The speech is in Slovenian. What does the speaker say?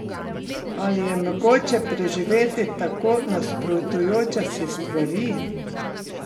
Ali je mogoče preživeti tako nasprotujoče si stvari?